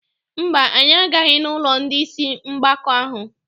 Mba, anyị agaghị n'ụlọ ndị isi mgbaka ahụ.